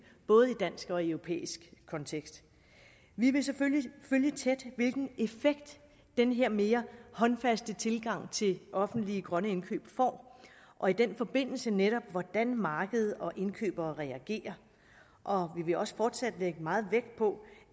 både i dansk og i europæisk kontekst vi vil selvfølgelig følge tæt hvilken effekt den her mere håndfaste tilgang til offentlige grønne indkøb får og i den forbindelse netop hvordan markedet og indkøbere reagerer og vil også fortsat lægge meget vægt på